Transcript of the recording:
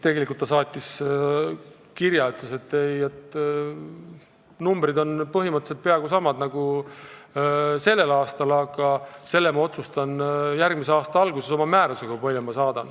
Ta saatis kirja, ütles, et numbrid on põhimõtteliselt peaaegu samad mis tänavu, aga selle ma otsustan järgmise aasta alguses oma määrusega.